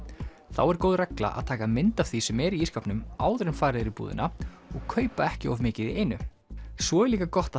þá er góð regla að taka mynd af því sem er í ísskápnum áður en farið er í búðina og kaupa ekki of mikið í einu svo er líka gott að